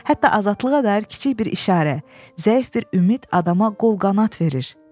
Hətta azadlığa dair kiçik bir işarə, zəif bir ümid adama qol-qanad verir.